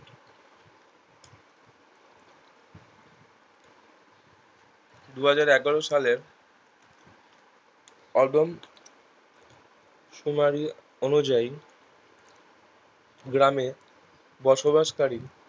দুহাজার এগারো সালের অদোম শুনানি অনুযায়ী গ্রামের বসবাস কারি